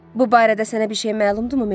Bu barədə sənə bir şey məlumdurmu, Meybel?